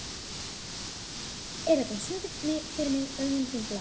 Eragon, syngdu fyrir mig „Augun þín blá“.